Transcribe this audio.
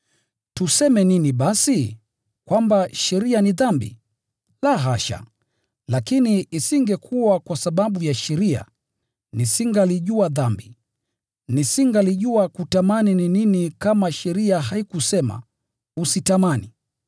Tuseme nini basi? Kwamba sheria ni dhambi? La, hasha! Lakini, isingekuwa kwa sababu ya sheria, nisingalijua dhambi. Nisingalijua kutamani ni nini kama sheria haikusema, “Usitamani.”